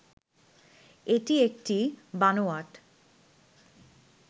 এটি একটি বানোয়াট